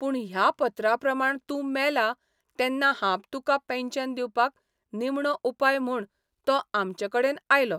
पूण ह्या पत्राप्रमाण तुं मेला तेन्ना हांब तुका पेन्शन दिवपाक निमणो उपाय म्हूण तो आमचेकडेन आयलो.